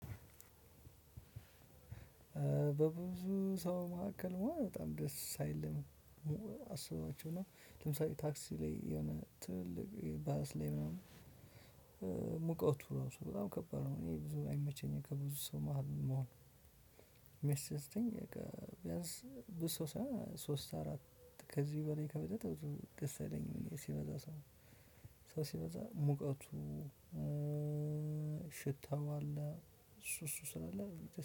በብዙ ሰው መካከል መሆን በጣም ደስ አይልም። አስባችሁነው ለምሳሌ ታክሲ ላይ የሆነ ትልቅ ባለስ ላይ ምናምን ሙቀቱ ራሱ በጣም ከባድ ነው። እኔ ብዙ አይመቸኝም ከብዙ ሰው መሃል መሆን። እሚያስደስተኝ ቢያንስ ብዙ ሰው ሳይሆን ሶስት አራት ከዚህ በላይ ከበለጠ ብዙ ደስ አይለኝም። ሲበዛ ሰው ሲበዛ ሙቀቱ ሽታው አለ እሱ እሱ ስለአለ።